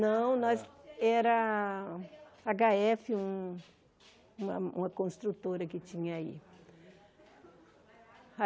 Não, nós era agá éfe, um uma uma construtora que tinha aí.